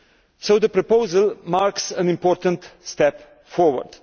So the proposal marks an important step forward.